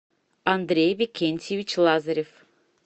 андрей викентьевич лазарев